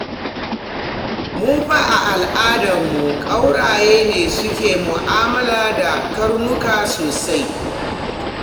Mu fa a al'adarmu, ƙauraye ne suke mu'amala da karnuka sosai.